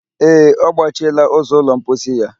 Ee, ọ gbachiela ụzọ ụlọ mposi ya